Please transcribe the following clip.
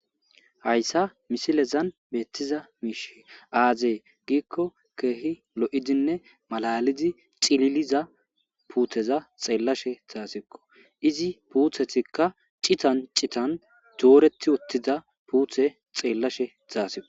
Hayssa misilezan beettiza miish aazee giikko keehi lo'idinne malalidi cililiza puutheza xeellashe zaasikko izi puuthetikka citan citan dooretti wottida puuthe xeellashe zaasiqo.